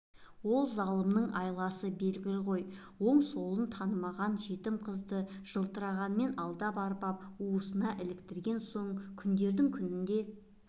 ол залымның айласы белгілі ғой оң-солын танымаған жетім қызды жылтырағымен алдап-арбап уысына іліктірген соң күндердің күнінде